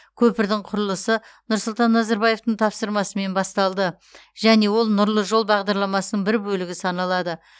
көпірдің құрылысы нұрсұлтан назарбаевтың тапсырмасымен басталды және ол нұрлы жол бағдарламасының бір бөлігі саналады